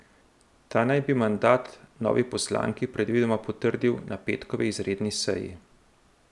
Ta naj bi mandat novi poslanki predvidoma potrdil na petkovi izredni seji.